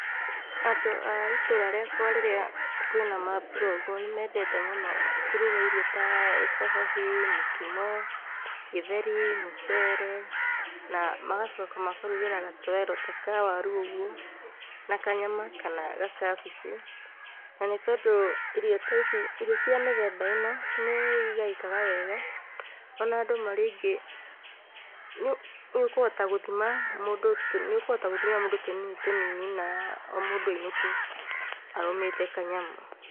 Andũ a ĩtũra rĩakwa rĩrĩa kwĩna mambura ũguo, nĩ mendete mũno kũruga irio ta cabaci, mũkimo, gĩtheri, mũcere, na magacoka makarugĩra gatowero ta ka waru ũguo na kanyama kana gakabici. Na nĩ tondũ irio ta ici, irio cia mĩthemba ĩno nĩ igaĩkaga wega, o na andũ marĩ aingĩ nĩũkũhota gũthima mũ, nĩũkũhota gũthimĩra mũndũ tũnini tũnini na o mũndũ ainũke arũmĩte kanyamũ.